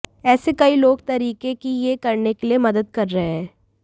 ऐसे कई लोक तरीकों कि यह करने के लिए मदद कर रहे हैं